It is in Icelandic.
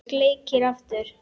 Sleikir aftur.